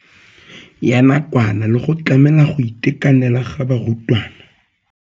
Ya nakwana le go tlamela go itekanela ga barutwana.